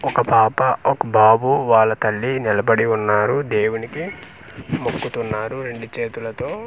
ఒక పాప ఒక బాబు వాళ్ళ తల్లి నిలబడి ఉన్నారు దేవునికి మొక్కుతున్నారు రెండు చేతులతో.